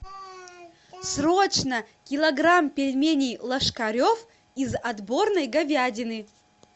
срочно килограмм пельменей ложкарев из отборной говядины